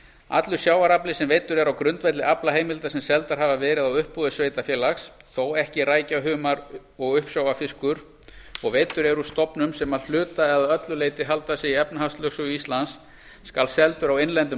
allur sjávarafli sem veiddur er á grundvelli aflaheimilda sem seldar hafa verið á uppboði sveitarfélags þó ekki rækja humar og uppsjávarfiskur og veiddur er úr stofnum sem að hluta eða öllu leyti halda sig í efnahagslögsögu íslands skal seldur á innlendum